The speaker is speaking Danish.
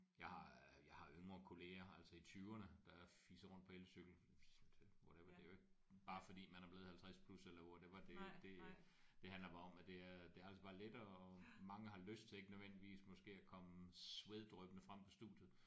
Jeg har øh jeg har yngre kolleger altså i tyverne der fiser rundt på elcykel så det whatever det er jo ikke bare fordi man er blevet 50 plus eller whatever det det det handler bare om at det er det er altså bare lettere og mange har lyst til ikke nødvendigvis måske at komme sveddryppende frem på studiet